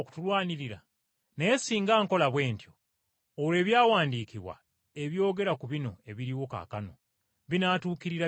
Naye singa nkola bwe ntyo, olwo Ebyawandiikibwa, ebyogera ku bino ebiriwo kaakano, binatuukirira bitya?”